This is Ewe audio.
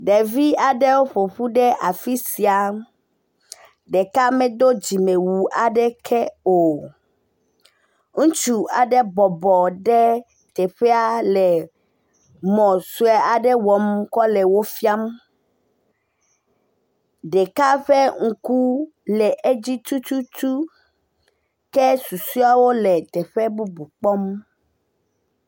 ɖevi aɖewo ƒoƒu ɖe afisia ɖeka medó dzime wu aɖeke o ŋutsu aɖe bɔbɔ ɖe teƒɛa le mɔ sɔe aɖe wɔm kɔle wó fiam ɖɛka ƒe ŋku le edzi tututu ke susuieawo le teƒe bubu kpɔm